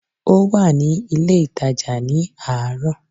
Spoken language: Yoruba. Ó wà ní ilé ìtàjà ní àárọ̀